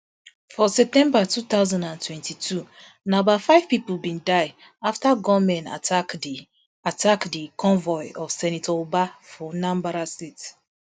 for september two thousand and twenty-two na a bout five pipo bin die afta gunmen attack di attack di convoy of senator ubah for anambra state